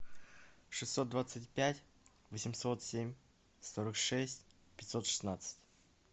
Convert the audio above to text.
шестьсот двадцать пять восемьсот семь сорок шесть пятьсот шестнадцать